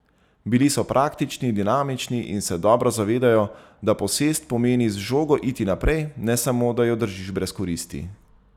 Bili so praktični, dinamični in se dobro zavedajo, da posest pomeni z žogo iti naprej, ne samo, da jo držiš brez koristi.